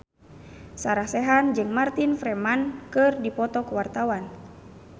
Sarah Sechan jeung Martin Freeman keur dipoto ku wartawan